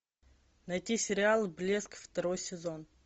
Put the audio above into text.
найти сериал блеск второй сезон